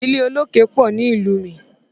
Ilẹ̀ olókè pọ̀ ni ìlú mi.